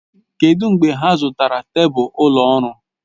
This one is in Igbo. Kedụ mgbe ha zụtara tebụl ụlọ ọrụ?